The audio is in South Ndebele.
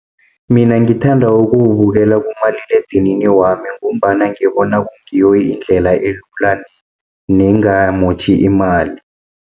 Mina ngithanda ukuwubukela kumaliledinini wami, ngombana ngibona kungiyo indlela elula nengamotjhi imali.